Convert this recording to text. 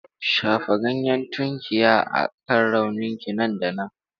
Shafa ganyen tunkiya a kan rauninka nan da nan.